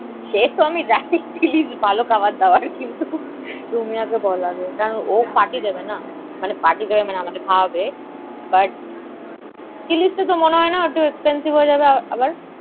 সেতো আমি জানি Chili's ভালো খাবার দাবার, কিন্তু রুমিয়াকে বল আগে। কারণ ও party দেবেনা। মানে party দেবে মানে আমাদের খাওয়াবে, but Chili's তাতো মনে হয় না, একটু expensive হয়ে যাবে আবার।